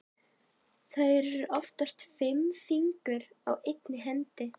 Það eru oftast fimm fingur á einni hendi.